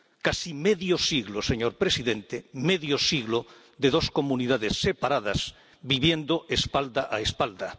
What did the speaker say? Casi medio siglo, señor presidente, medio siglo, de dos comunidades separadas viviendo espalda a espalda